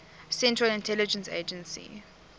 central intelligence agency